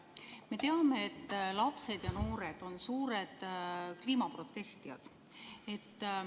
Me teame, et lapsed ja noored on suured kliimaprotestijad.